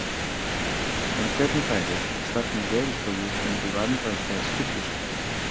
En hvernig færi ef starfsmenn Veðurstofu myndu vanrækja skyldu sína?